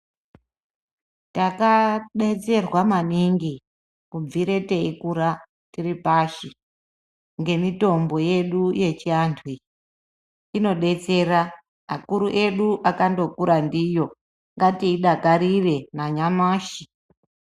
Taka detserwa maningi kubvire tei kura tiri pashi nge mitombo yedu yechi antu iyi ino detsera akuru edu akando kura ndiyo ngati dakarire na nyamashi.